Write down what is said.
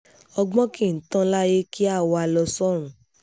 ọgbọ́n kì í tán láyé kí a wá a lọ sọ́run